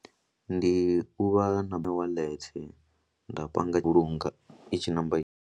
Ndi u vha na wallet nda panga vhulunga i tshi namba.